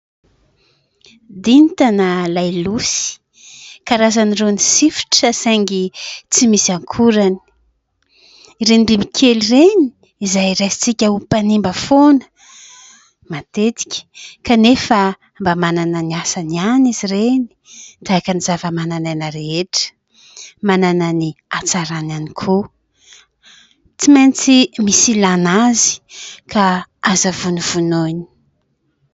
Dinta na lailosy, karazan'irony sifotra, saingy tsy misy akorany. Ireny bibikely ireny izay raisintsika ho mpanimba foana matetika, kanefa mba manana ny asany ihany izy ireny, tahaka ny zavamananaina rehetra ; manana ny hatsarany ihany koa. Tsy maintsy misy ilàna azy, ka aza vonovonoina.